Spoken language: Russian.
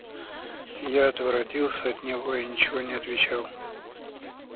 я отворотился от него и ничего не отвечал